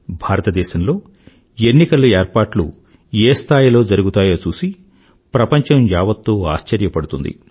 భారతదేశంలో ఎన్నికల ఏర్పాట్లు ఏ స్థాయిలో జరుగుతాయో చూసి ప్రపంచం యావత్తు ఆశ్చర్య పడుతుంది